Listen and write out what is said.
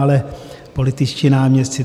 Ale političtí náměstci.